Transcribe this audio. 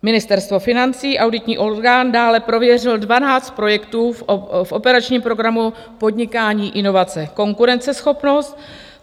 Ministerstvo financí, auditní orgán, dále prověřil 12 projektů v operačním programu Podnikání, inovace, konkurenceschopnost.